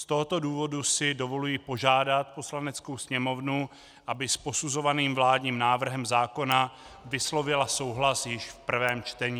Z tohoto důvodu si dovoluji požádat Poslaneckou sněmovnu, aby s posuzovaným vládním návrhem zákona vyslovila souhlas již v prvém čtení.